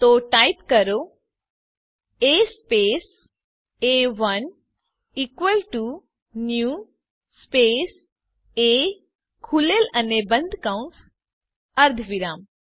તો ટાઇપ કરો A space A one equal to new space એ ખૂલેલ અને બંધ કૌસ અર્ધવિરામ